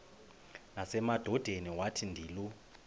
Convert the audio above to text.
nasemadodeni wathi ndilu